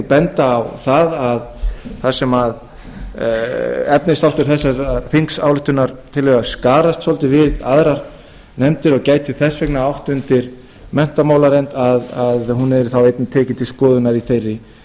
benda á það að þar sem efnisþáttur þessarar þingsályktunartillögu skarast dálítið við aðrar nefndir og gæti þess vegna átt undir menntamálanefnd að hún yrði þá einnig tekin til skoðunar í þeirri